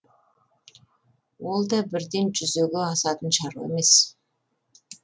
ол да бірден жүзеге асатын шаруа емес